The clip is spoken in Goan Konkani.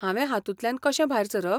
हांवे हातूंतल्यान कशें भायर सरप?